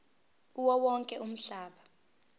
kuwo wonke umhlaba